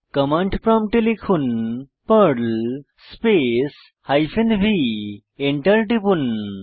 command প্রম্পটে লিখুন Perl space hyphen v Enter টিপুন